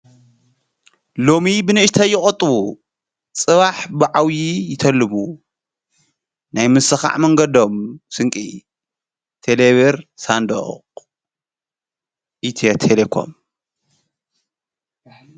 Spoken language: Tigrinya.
ሎሚ ብንእሽተ ይቐጡው ጽባሕ ብዓውዪ ይተልሙ ናይ ምስኻዕ መንገዶም ስንቂ ቴሌብር ሳንዶቕ ኢትዮተሌኮም